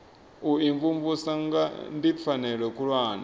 u imvumvusa ndi pfanelo khulwane